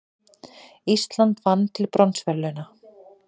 Ísland vann til bronsverðlauna